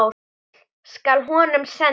Heill skal honum senda.